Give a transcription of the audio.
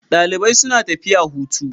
Dalibai suna tafiya hutu.